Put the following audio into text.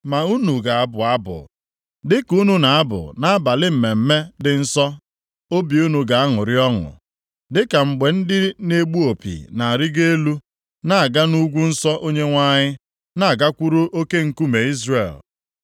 Ma unu ga-abụ abụ dịka unu na-abụ nʼabalị mmemme dị nsọ, obi unu ga-aṅụrị ọṅụ dịka mgbe ndị na-egbu opi na-arịgo elu na-aga nʼugwu nsọ Onyenwe anyị, na-agakwuru Oke Nkume Izrel.